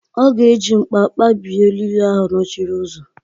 Ọ ga-eji mkpa kpabie eriri ahụ nọchiri ụzọ.